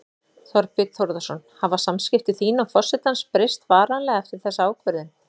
Þorbjörn Þórðarson: Hafa samskipti þín og forsetans breyst varanlega eftir þessa ákvörðun?